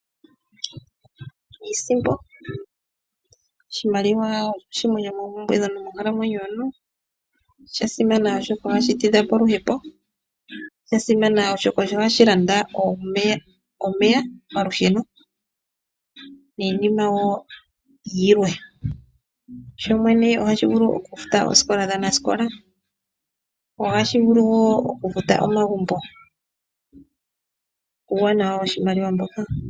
Iisimpo Oshimaliwa osho shimwe shomoompumbwe monkalamwenyo yomuntu. Osha simana oshoka ohashi tidha po oluhepo, osha simana oshoka osho hashi landa omeya, omalusheno niinima woo yilwe. Sho shene ohashi vulu oku futa oosikola dhaa nasikola ohashi vulu woo oku futa omagumbo, uuwanawa woshimaliwa mboka.